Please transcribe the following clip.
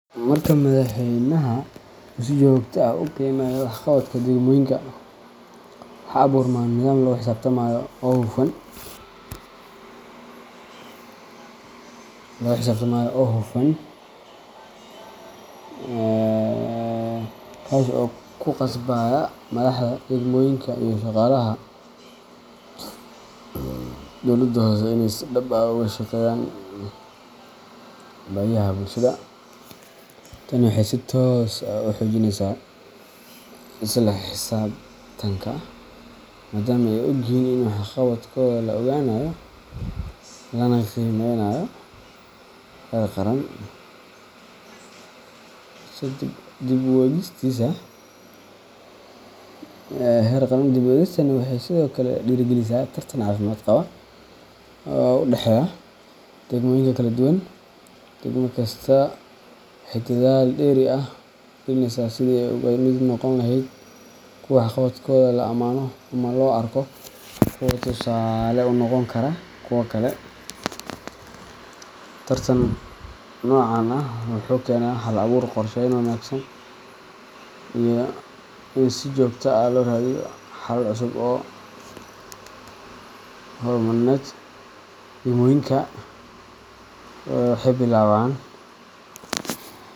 Marka madaxweynaha uu si joogto ah u qiimeeyo waxqabadka degmooyinka, waxaa abuurma nidaam lagu xisaabtamayo oo hufan, kaas oo ku qasbaya madaxda degmooyinka iyo shaqaalaha dowladaha hoose inay si dhab ah uga shaqeeyaan baahiyaha bulshada. Tani waxay si toos ah u xoojinaysaa isla xisaabtanka, maadaama ay og yihiin in waxqabadkooda la ogaanayo lana qiimeynayo heer qaran. Dib u eegistaani waxay sidoo kale dhiirrigelisaa tartan caafimaad qaba oo u dhexeeya degmooyinka kala duwan. Degmo kasta waxay dadaal dheeri ah gelinaysaa sidii ay uga mid noqon lahayd kuwa waxqabadkooda la amaano ama loo arko kuwo tusaale u noqon kara kuwa kale. Tartan noocan ah wuxuu keenaa hal abuur, qorsheyn wanaagsan, iyo in si joogto ah loo raadiyo xalal cusub oo horumarineed. Degmooyinka waxay billaabaan.